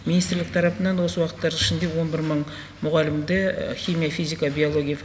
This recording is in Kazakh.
министрлік тарапынан осы уақыттардың ішінде он бір мың мұғалімді химия физика биология